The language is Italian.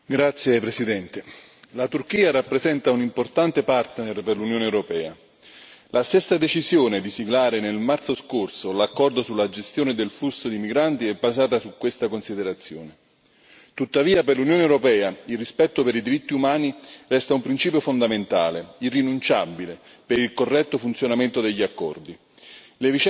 Signor Presidente, onorevoli colleghi, la Turchia rappresenta un importante partner per l'Unione europea la stessa decisione di siglare nel marzo scorso l'accordo sulla gestione del flusso di migranti è basata su questa considerazione. Tuttavia per l'Unione europea il rispetto per i diritti umani resta un principio fondamentale, irrinunciabile per il corretto funzionamento degli accordi.